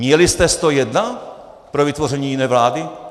Měli jste 101 pro vytvoření jiné vlády?